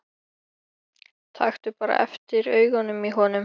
Taktu bara eftir augunum í honum.